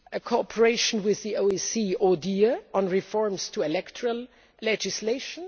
cooperation with the OSCE ODIHR on reforms to electoral legislation